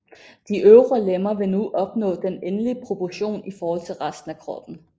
De øvre lemmer vil nu opnå den endelige proportion i forhold til resten af kroppen